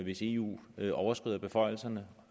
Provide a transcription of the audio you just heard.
hvis eu overskrider beføjelserne